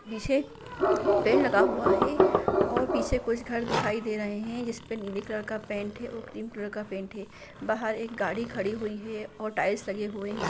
एक बड़ा-सा मैदान है जिस मैदान मे हरे घास जमे हुए हैंऔर जा और मैदानों में एक जाली लगे हुए है जिस जाली के अंदर एक हिरण हिरण हिरण है और अगल-बगल हरे-भरे पेड़-पौधे भी हैं।